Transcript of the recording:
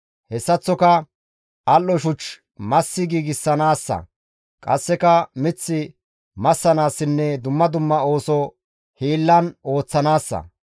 Hessaththoka al7o shuch massi giigsanaassa; qasseka mith massanaassinne dumma dumma ooso hiillan ooththanaassa.